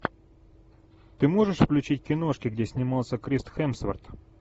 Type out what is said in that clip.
ты можешь включить киношки где снимался крис хемсворт